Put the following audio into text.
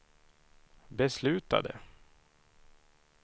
beslutade